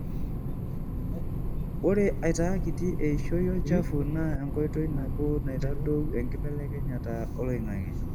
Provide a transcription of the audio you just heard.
ore aitaa kitii eishoi olchafu na enkotoi naboo naitadou enkibelekenyata oloingange.